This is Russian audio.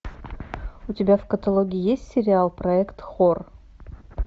у тебя в каталоге есть сериал проект хор